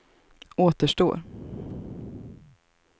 återstår